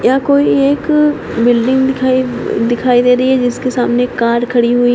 यह कोई एक बिल्डिंग दिखाइ दिखाई दे रही है जिसके सामने कार खड़ी हुई है।